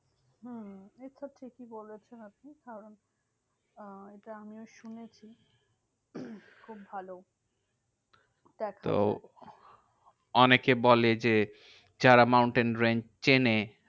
হম হম এটা ঠিকই বলেছেন আপনি। কারণ আহ এটা আমিও শুনেছি খুব ভালো দেখা যায়। তো অনেকে বলে যে, যারা mountain range চেনে